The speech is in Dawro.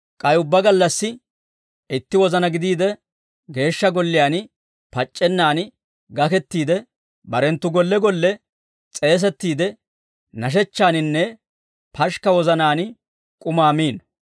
K'ay ubbaa gallassi, itti wozanaa gidiide, Geeshsha Golliyaan pac'c'ennan gakettiide, barenttu golle golle s'eesettiide nashechchaaninne pashikka wozanaan k'umaa miino.